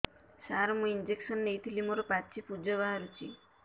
ସାର ମୁଁ ଇଂଜେକସନ ନେଇଥିଲି ମୋରୋ ପାଚି ପୂଜ ବାହାରୁଚି